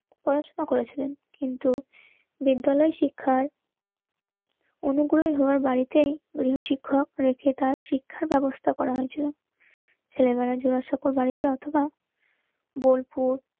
পড়াশুনো করেছিলেন. কিন্তু বিদ্যালয় শিক্ষার অনুগ্রহী হওয়ার বাড়িতেই গৃহশিক্ষক রেখে তার শিক্ষার ব্যবস্থা করা হয়েছিল ছেলে মেয়েরা জোড়াসাঁকোর বাড়িতে অথবা বোলপুর